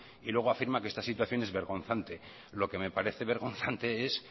y luego afirma que esta situación es vergonzante lo que me parece vergonzante es